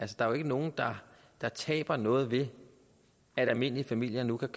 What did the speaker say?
der er jo ikke nogen der taber noget ved at almindelige familier nu kan